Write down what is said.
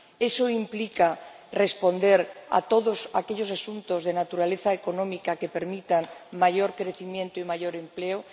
Esto implica responder a todos aquellos asuntos de naturaleza económica que permitan mayor crecimiento y mayor empleo